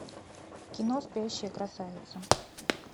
кино спящая красавица